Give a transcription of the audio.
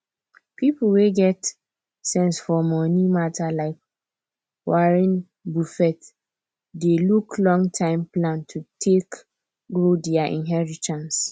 people wey get sense for money matter like warren buffett dey look longterm plan to take grow their inheritance